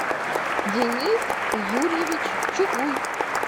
денис юрьевич чугуй